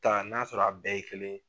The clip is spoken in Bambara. ta n'a sɔrɔ a bɛɛ ye kelen ye.